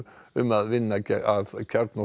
um að vinna að